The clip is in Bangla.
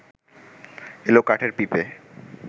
এল কাঠের পিঁপে